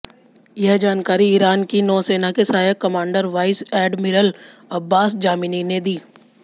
यह जानकारी ईरान की नौ सेना के सहायक commander vice admiral Abbas Jamini ने दी